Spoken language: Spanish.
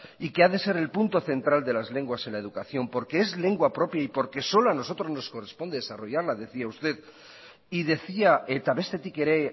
y que ha de ser el punto central de las lenguas en la educación porque es lengua propia y porque solo a nosotros nos corresponde desarrollarla decía usted y decía eta bestetik ere